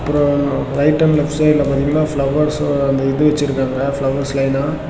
அப்றோ right and left சைடுல பாத்தீங்கனா ஃபிளவர்ஸ்ஸ அந்த இது வெச்சுருக்காங்க ஃபிளவர்ஸ் லைனா .